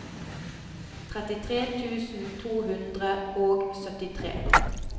trettitre tusen to hundre og syttitre